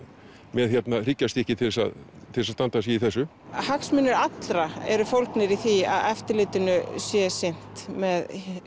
með hryggjarstykki til að til að standa sig í þessu hagsmunir allra eru fólgnir í því að eftirlitinu sé sinnt með